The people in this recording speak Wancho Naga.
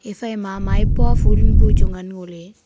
ephai ma maipo phul bu chu ngan ngo ley.